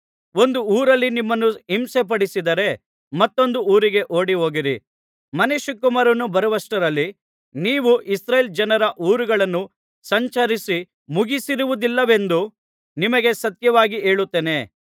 ಒಂದು ಊರಲ್ಲಿ ನಿಮ್ಮನ್ನು ಹಿಂಸೆಪಡಿಸಿದರೆ ಮತ್ತೊಂದು ಊರಿಗೆ ಓಡಿಹೋಗಿರಿ ಮನುಷ್ಯಕುಮಾರನು ಬರುವಷ್ಟರಲ್ಲಿ ನೀವು ಇಸ್ರಾಯೇಲ್ ಜನರ ಊರುಗಳನ್ನು ಸಂಚರಿಸಿ ಮುಗಿಸಿರುವುದಿಲ್ಲವೆಂದು ನಿಮಗೆ ಸತ್ಯವಾಗಿ ಹೇಳುತ್ತೇನೆ